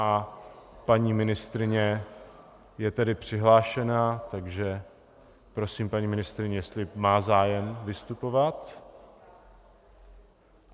A paní ministryně je tedy přihlášená, takže prosím, paní ministryně, jestli má zájem vystupovat.